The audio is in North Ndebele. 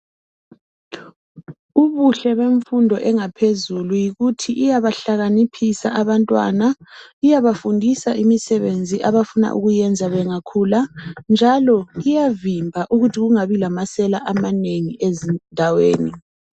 Ubuhle bemfundo yangaphezulu yikuthi iyabahlakaniphisa abantwana iyabafundisa imisebenzi abafuna ukuyenza bengakhula njalo iyavimba ukuthi kungabi lamasela amanengi ezindaweni.